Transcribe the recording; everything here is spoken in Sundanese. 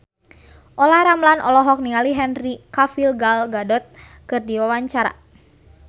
Olla Ramlan olohok ningali Henry Cavill Gal Gadot keur diwawancara